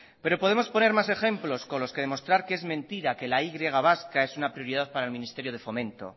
pero podemos poner más ejemplos con los que demostrar que es mentira que la y vasca es una prioridad para el ministerio de fomento